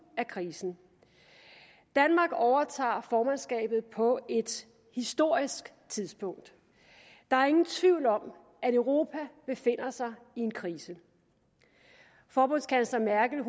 af krisen danmark overtager formandskabet på et historisk tidspunkt der er ingen tvivl om at europa befinder sig i en krise forbundskansler merkel